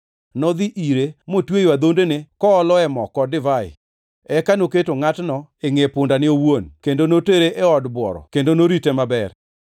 Nodhi ire motweyo adhondene kooloe mo kod divai. Eka noketo ngʼatno e ngʼe pundane owuon kendo notere e od bworo kendo norite maber.